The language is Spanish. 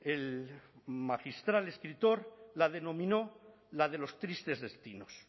el magistral escritor la denominó la de los tristes destinos